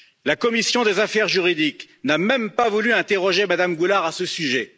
La commission des affaires juridiques n'a même pas voulu interroger madame Goulard à ce sujet.